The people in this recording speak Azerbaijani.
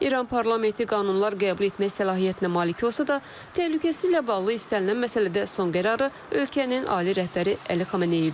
İran parlamenti qanunlar qəbul etmək səlahiyyətinə malik olsa da, təhlükəsizliklə bağlı istənilən məsələdə son qərarı ölkənin ali rəhbəri Əli Xameneyi verir.